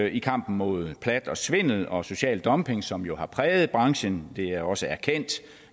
i kampen mod plat og svindel og social dumping som jo har præget branchen det er også erkendt